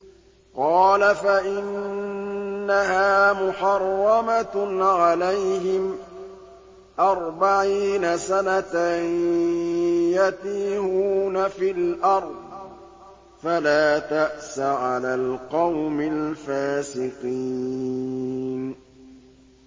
قَالَ فَإِنَّهَا مُحَرَّمَةٌ عَلَيْهِمْ ۛ أَرْبَعِينَ سَنَةً ۛ يَتِيهُونَ فِي الْأَرْضِ ۚ فَلَا تَأْسَ عَلَى الْقَوْمِ الْفَاسِقِينَ